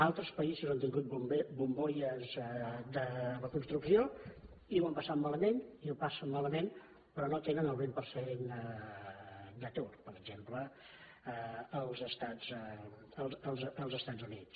altres països han tingut bombolles de la construcció i ho han passat malament i ho passen malament però no tenen el vint per cent d’atur per exemple els estats units